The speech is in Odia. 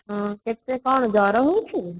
ଓ ହୋ ତତେ କ'ଣ ଜର ହଉଛି